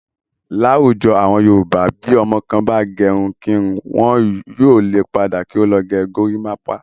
Láwùjọ àwọn Yorùbá bí ọmọ kan bá gẹrun kírun. Wọn yóò le padà kí ó lọ gę gorímápá.